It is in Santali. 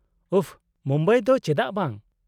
-ᱩᱯᱷ , ᱢᱩᱢᱵᱟᱭ ᱫᱚ ᱪᱮᱫᱟᱜ ᱵᱟᱝ ?